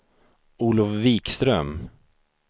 Olof Wikström